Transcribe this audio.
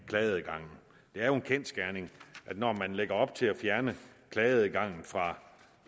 klageadgangen det er jo en kendsgerning at når man lægger op til at fjerne klageadgangen fra